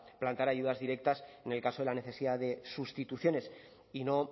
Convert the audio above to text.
plantear ayudas directas en el caso de la necesidad de sustituciones y no